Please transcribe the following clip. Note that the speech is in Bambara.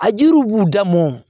A jiriw b'u da mɔn